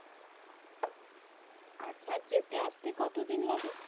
আচ্ছা আর যেতে আসতে কতো দিন লাগে?